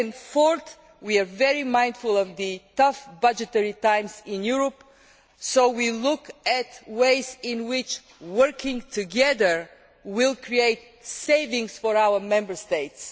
Fourth, we are very mindful of the tough budgetary times in Europe, so we are looking at ways in which working together will create savings for Member States.